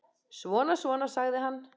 Svona, svona, sagði hann.